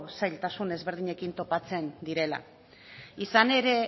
zailtasuna ezberdinekin topatzen direla izan ere